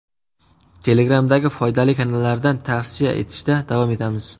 Telegram’dagi foydali kanallardan tavsiya etishda davom etamiz.